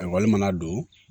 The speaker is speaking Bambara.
Ayiwa mana don